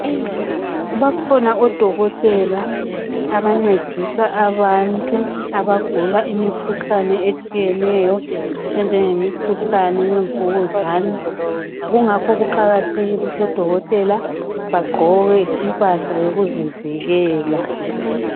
Bakhona odokotela abancedisa abantu abagula imikhuhlane etshiyeneyo ejenge mikhuhlane yemvukuzane kungakho kuqakathekike ukuthi udokotela aqoke impahla yokuzivikela.